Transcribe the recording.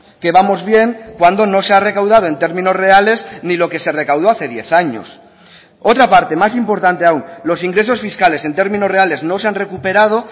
que vamos bien cuando no se ha recaudado en términos reales ni lo que se recaudó hace diez años otra parte más importante aún los ingresos fiscales en términos reales no se han recuperado